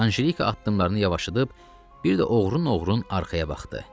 Anjelika addımlarını yavaşladıb bir də oğrun-oğrun arxaya baxdı.